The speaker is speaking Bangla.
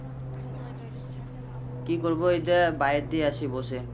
কি করবো এই তো বাইরের দিকে আছি বসে।